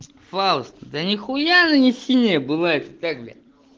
фауст да нихуя она не синяя бывает и так блять